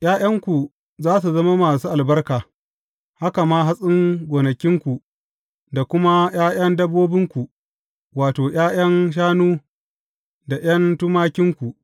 ’Ya’yanku za su zama masu albarka, haka ma hatsin gonakinku da kuma ’ya’yan dabbobinku, wato, ’ya’yan shanu da ’yan tumakinku.